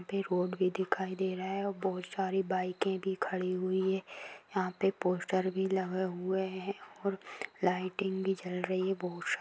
यहाँ पे रोड भी दिखाई दे रहा है और बहुत सारी बाइकें भी खड़ी हुई है यहाँ पे पोस्टर भी लगा हुआ हैै और लाइटिंग भी जल रही है बहुत सारी।